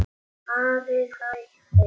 Ari þagði.